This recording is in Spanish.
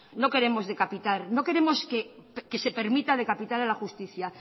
no queremos decapitar no queremos que se permita decapitar a la justicia